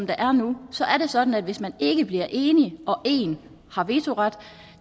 der er nu er det sådan at hvis man ikke bliver enige og en har vetoret